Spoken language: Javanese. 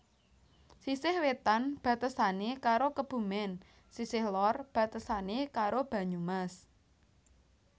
Sisih wetan batesane karo Kebumen sisih lor batesane karo Banyumas